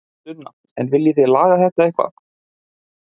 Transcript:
Sunna: En viljið þið laga þetta eitthvað?